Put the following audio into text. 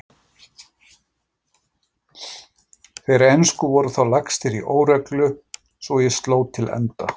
Þeir ensku voru þá lagstir í óreglu svo ég sló til enda